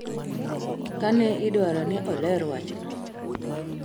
kane idwaro ni oler wachno